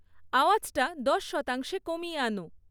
আওয়াজটা দশ শতাংশে কমিয়ে আনো